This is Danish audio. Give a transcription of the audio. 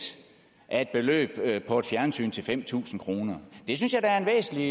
af et beløb på et fjernsyn til fem tusind kroner det synes jeg da er en væsentlig